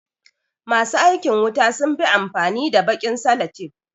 Ma su aikin wuta sun fi amfani da baƙin salatef.